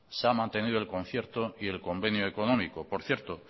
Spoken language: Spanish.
se ha mantenido el concierto y el convenio económico por cierto